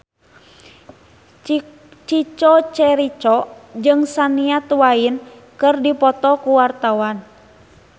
Chico Jericho jeung Shania Twain keur dipoto ku wartawan